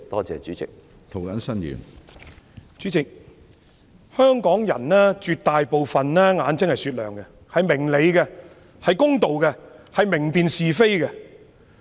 主席，絕大部分香港人的眼睛是雪亮的，他們明理公道、明辨是非。